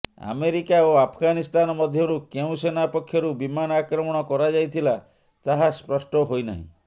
America ଓ ଆଫଗାନିସ୍ତାନ ମଧ୍ୟରୁ କେଉଁ ସେନା ପକ୍ଷରୁ ବିମାନ ଆକ୍ରମଣ କରାଯାଇଥିଲା ତାହା ସ୍ପଷ୍ଟ ହୋଇନାହିଁ